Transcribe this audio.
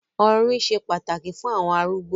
“orín” se pàtàkì fún àwọn arúgbó.